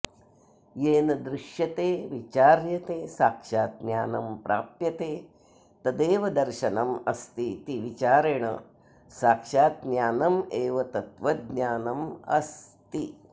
येन दृश्यते विचार्यते साक्षात् ज्ञानं प्राप्यते तदेव दर्शनमस्तीति विचारेण साक्षात् ज्ञानमेव तत्त्वज्ञानमस्ति